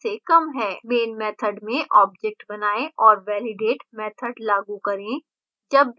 main method में objects बनाएँ और validate method लागू करें